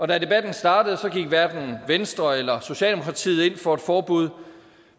da debatten startede gik hverken venstre eller socialdemokratiet ind for et forbud